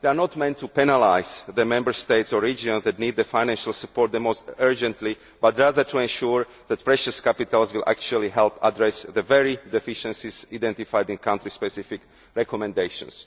They are not meant to penalise the Member States or regions that need financial support most urgently, but rather to ensure that precious capital will actually help address the very deficiencies identified in country specific recommendations.